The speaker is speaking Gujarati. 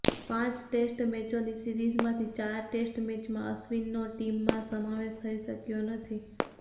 પાંચ ટેસ્ટ મેચોની સિરીઝમાંથી ચાર ટેસ્ટ મેચમાં અશ્વિનનો ટીમમાં સમાવેશ થઇ શક્યો નથી